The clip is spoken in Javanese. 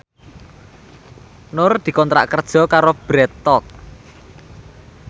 Nur dikontrak kerja karo Bread Talk